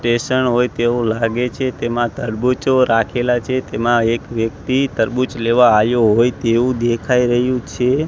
Station હોય તેવું લાગે છે તેમાં તરબૂચો રાખેલા છે તેમાં એક વ્યક્તિ તરબૂચ લેવા આયો હોય તેવું દેખાય રહ્યું છે.